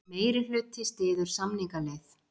Meirihluti styður samningaleið